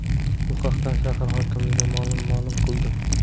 Bu haqda shahar hokimligi ma’lum ma’lum qildi .